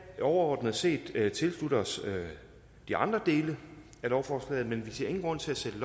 overordnet set tilslutte os de andre dele af lovforslaget men vi ser ingen grund til at sætte